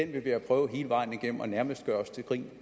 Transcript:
vi have prøvet hele vejen igennem og nærmest gøre os til grin